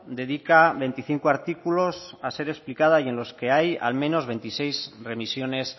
dedica veinticinco artículos a ser explicada y en los que hay al menos veintiséis remisiones